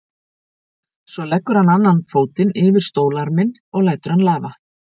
Svo leggur hann annan fótinn yfir stólarminn og lætur hann lafa.